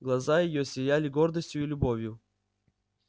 глаза её сияли гордостью и любовью